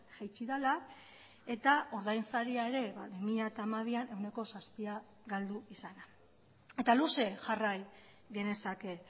jaitsi dela eta ordainsaria ere bi mila hamabian ehuneko zazpia galdu izana eta luze jarrai genezake